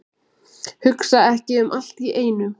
Hugsa ekki um allt í einu.